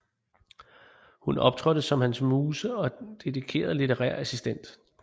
Hun optrådte som hans muse og dedikeret litterær assistent